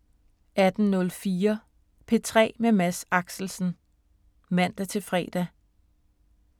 18:04: P3 med Mads Axelsen (man-fre)